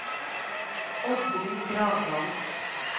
Oddrun Gravdal